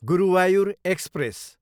Guruvayur express